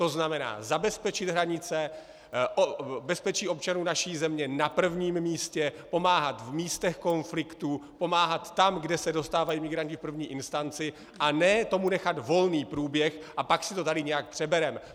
To znamená, zabezpečit hranice, bezpečí občanů naší země na prvním místě, pomáhat v místech konfliktů, pomáhat tam, kde se dostávají migranti v první instanci, a ne tomu nechat volný průběh a pak si to tady nějak přebereme.